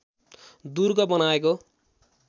दुर्ग बनाएको